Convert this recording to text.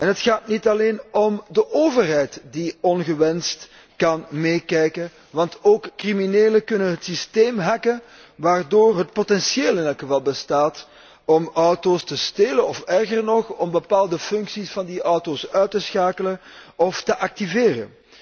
Het gaat niet alleen om de overheid die ongewenst kan meekijken, want ook criminelen kunnen het systeem hacken, waardoor het potentieel in elk geval bestaat om auto´s te stelen, of erger nog, om bepaalde functies van die auto´s uit te schakelen of te activeren.